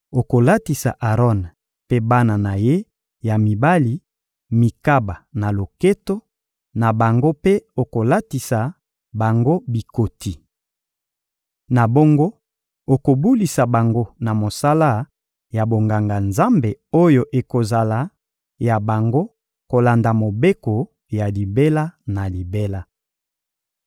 Okolatisa Aron mpe bana na ye ya mibali mikaba na loketo na bango mpe okolatisa bango bikoti. Na bongo, okobulisa bango na mosala ya bonganga-Nzambe oyo ekozala ya bango kolanda mobeko ya libela na libela.